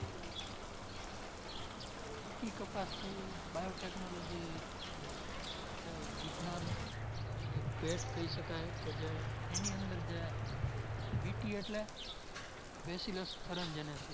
BT કપાસ છે ઇ Biotechnology દ્વારા બનેલો છે ઇ વિજ્ઞાનની એક ભેટ કઈ શકાય જે કે એની અંદર જે BT એટલે